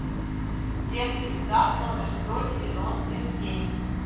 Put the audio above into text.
детский сад номер сто девяносто семь